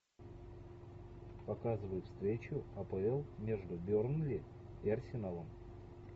показывай встречу апл между бернли и арсеналом